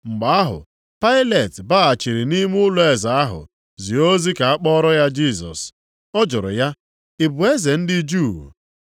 Mgbe ahụ Pailet baghachiri nʼime ụlọeze ahụ, zie ozi ka a kpọọrọ ya Jisọs. Ọ jụrụ ya, “Ị bụ eze ndị Juu?”